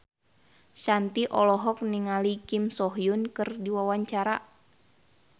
Shanti olohok ningali Kim So Hyun keur diwawancara